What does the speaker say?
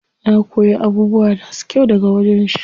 Na koyi abubuwa masu kyau daga wajen shi.